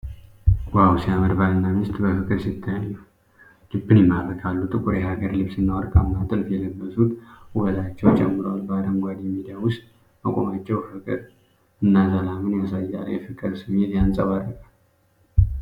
ዋው፣ ሲያምር! ባልና ሚስት በፍቅር ሲተያዩ ልብን ይማርካሉ። ጥቁር የሀገር ልብስና ወርቃማ ጥልፍ የለበሱት ውበታቸውን ጨምሯል። በአረንጓዴ ሜዳ ውስጥ መቆማቸው ፍቅርና ሰላምን ያሳያል። የፍቅር ስሜት ያንጸባርቃል።